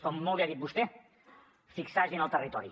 com molt bé ha dit vostè fixar gent al territori